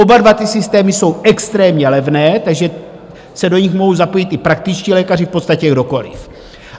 Oba dva ty systémy jsou extrémně levné, takže se do nich mohou zapojit i praktičtí lékaři, v podstatě kdokoliv.